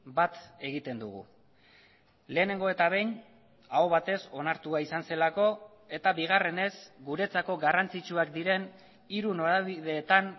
bat egiten dugu lehenengo eta behin aho batez onartua izan zelako eta bigarrenez guretzako garrantzitsuak diren hiru norabideetan